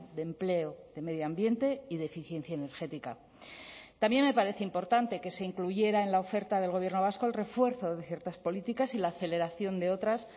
de empleo de medio ambiente y de eficiencia energética también me parece importante que se incluyera en la oferta del gobierno vasco el refuerzo de ciertas políticas y la aceleración de otras